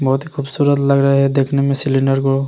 बहुत खूबसूरत लग रहा है देखने में सिलेंडर को।